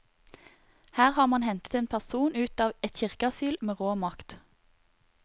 Her har man hentet en person ut av et kirkeasyl med rå makt.